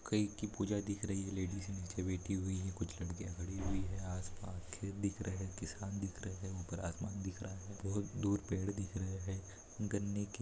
कई की पूजा दिख रही लेडिज नीचे बैठी हुई हैं कुछ लड्कीया खड़ी हुईं हैं आसपास खेत दिख रहे हैं किसान दिख रहे है ऊपर आसमान दिख रहा हैं बहुत दूर पेड़ दिख रहे हैं। गन्ने की--